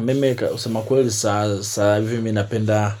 Mimi kusema kweli saa saa hivi mi napenda.